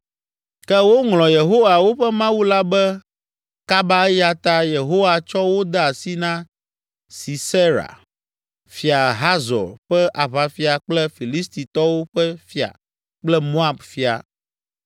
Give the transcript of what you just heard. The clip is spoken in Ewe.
“Ke woŋlɔ Yehowa, woƒe Mawu la be kaba eya ta Yehowa tsɔ wo de asi na Sisera, Fia Hazor ƒe aʋafia kple Filistitɔwo ƒe fia kple Moab fia.